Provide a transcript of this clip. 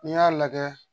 N'i y'a lajɛ